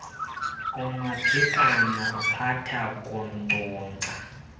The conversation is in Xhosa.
umaphikana uphatha kunkcunkca